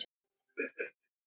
Ekki satt, Skúli?